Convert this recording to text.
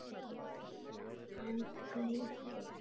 Hann Gutti?